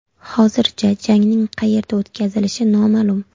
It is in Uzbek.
Hozircha jangning qayerda o‘tkazilishi noma’lum.